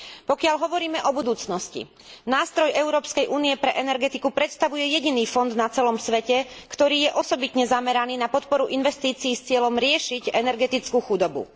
Pokiaľ hovoríme o budúcnosti, nástroj Európskej únie pre energetiku predstavuje jediný fond na celom svete, ktorý je osobitne zameraný na podporu investícií s cieľom riešiť energetickú chudobu.